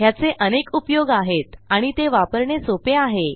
ह्याचे अनेक उपयोग आहेत आणि ते वापरणे सोपे आहे